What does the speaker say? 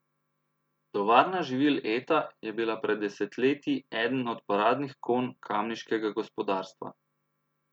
Tovarna živil Eta je bila pred desetletji eden od paradnih konj kamniškega gospodarstva.